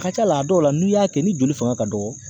A ka ca la , a dɔw la n'i y'a kɛ ni joli fanga ka dɔgɔ